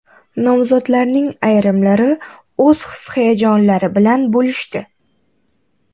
Nomzodlarning ayrimlari o‘z his-hayajonlari bilan bo‘lishdi.